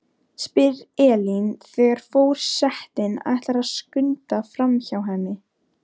spyr Elín þegar for- setinn ætlar að skunda framhjá henni.